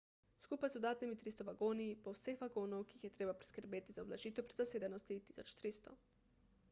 skupaj z dodatnimi 300 vagoni bo vseh vagonov ki jih je treba priskrbeti za ublažitev prezasedenosti 1300